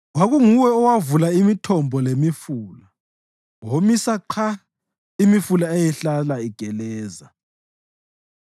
Kwakunguwe owavula imithombo lemifula; womisa qha imifula eyayihlala igeleza.